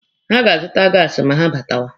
Ha ga-azụta gaasi ma ha batawa.